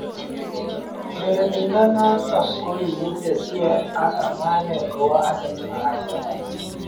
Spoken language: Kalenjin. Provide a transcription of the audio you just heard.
Urerenindet noto kokikitesie ak amanet kowa Arsenal ak Everton.